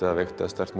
veikt eða sterkt